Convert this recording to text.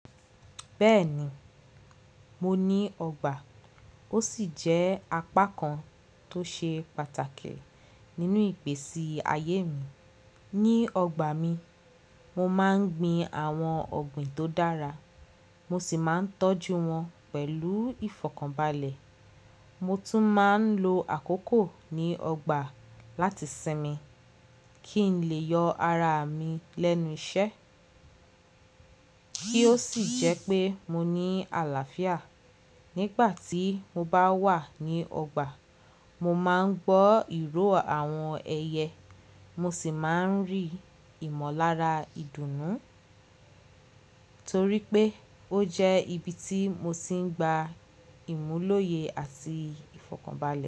Bẹ́ẹ̀ni, mo ní ọgbà. Ó sì jẹ́ apá kan tó ṣe pàtàkì nínú ìgbèsi ayé mi. Ní ọgbà mi, mo máa ń gbin àwọn ọ̀gbìn tó dára, mo sì máa ń tọ́jú wọn pẹ̀lú ìfọ̀kànbalẹ̀. Mo tún máa ń lo àkókò ní ọgbà láti sinmi kí n lè yọ ara mi lẹ́nu iṣẹ́ kí ó sì jẹ́ pé mo ní àlàáfíà. Nígbà tí mo bá wà ní ọgbà, mo máa ń gbọ́ ìró àwọn ẹyẹ, mo sì máa ń rí ìmọ̀lára ìdùnnú torí pé ó jẹ́ ibi tí mo ti ń gba ìmúlòye àti ìfọ̀kànbalẹ̀.